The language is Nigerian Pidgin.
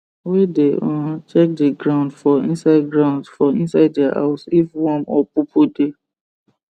wey dey um check the groud for inside groud for inside their house if worm or poopoo dey